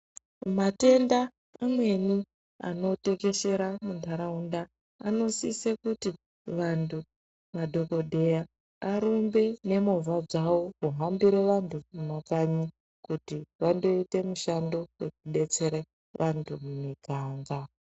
Matenda amweni anotekeshera muntharaunda, anosise kuti vanthu, madhokodheya arumbe nemovha dzawo kuhambira vanhu mumakanyi kuti vandooite mishando wekudetsera vanthu mumuganga.